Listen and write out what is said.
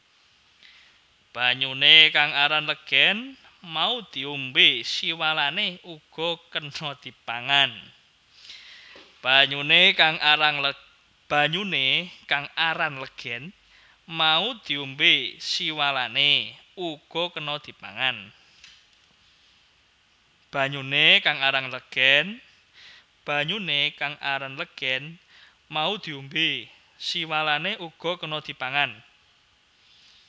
Banyuné kang aran legèn mau diombé siwalané uga kéna dipangan